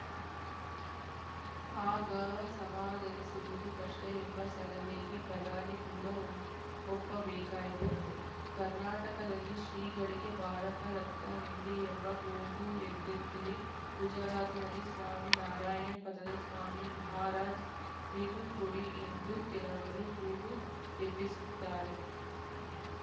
ಆಗ ಸಮಾಧಾನಿಸುವುದು ಕಷ್ಟಎಂಬ ಸಲಹೆಗೆ ಪ್ರಧಾನಿ ಕೂಡ ಒ ಒಪ್ಪಬೇಕಾಯಿತಂತೆ ಕರ್ನಾಟಕದಲ್ಲಿ ಶ್ರೀಗಳಿಗೆ ಭಾರತ ರತ್ನ ನೀಡಿ ಎಂಬ ಕೂಗು ಎದ್ದಂತೆಯೇ ಗುಜರಾತಿನಲ್ಲಿ ಸ್ವಾಮಿ ನಾರಾಯಣ್‌ ಪಂಥದ ಸ್ವಾಮಿ ಮಹಾರಾಜ್‌ ರಿಗೂ ಕೊಡಿ ಎಂದು ಕೆಲವರು ಕೂಗು ಎಬ್ಬಿಸುತ್ತಾರೆ